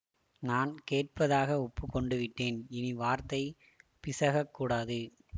நான் கேட்பதாக ஒப்பு கொண்டுவிட்டேன் இனிவார்த்தை பிசகக்கூடாது